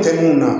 Tɛ mun na